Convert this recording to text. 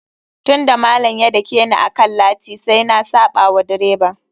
Tun da malam ya dakeni akan lati, sai na saɓa wa direba.